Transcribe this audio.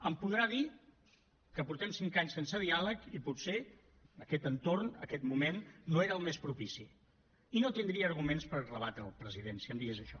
em podrà dir que portem cinc anys sense diàleg i potser aquest entorn aquest moment no era el més propici i no tindria arguments per rebatre’l president si em digués això